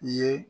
I ye